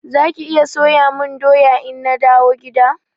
Zaki iya soya mun doya ina dawo gida?